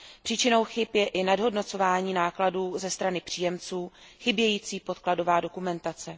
Příčinou chyb je i nadhodnocování nákladů ze strany příjemců, chybějící podkladová dokumentace.